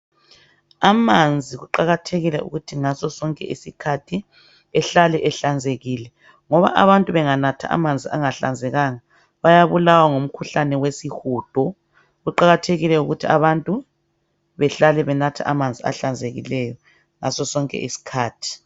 Amanzi kuqakathekile ukuthi ngasosonke isikhathi ehlale ehlanzekile ngoba abantu benganatha amanzi angahlanzekanga bayabulawa mukhuhlane wesihudo. Kuqakathekile ukuthi abantu behlale benatha amanzi ahlanzekileyo ngasosonke isikhathi.